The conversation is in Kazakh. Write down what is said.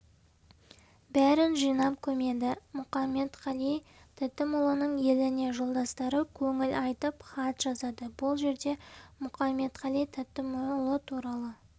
бәрін жинап көмеді мұқаметқали тәтімұлының еліне жолдастары көңіл айтып хат жазады бұл жерде мұқаметқали тәтімұлы туралы